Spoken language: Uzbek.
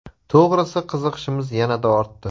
– To‘g‘risi qiziqishimiz yanada ortdi.